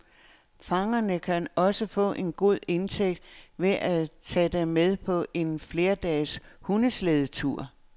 Fangerne kan også få en god indtægt ved at tage dem med på en flerdages hundeslædetur.